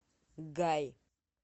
гай